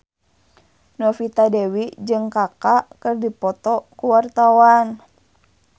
Novita Dewi jeung Kaka keur dipoto ku wartawan